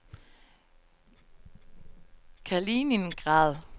Kaliningrad